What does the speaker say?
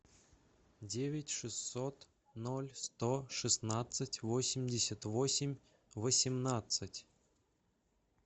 девять шестьсот ноль сто шестнадцать восемьдесят восемь восемнадцать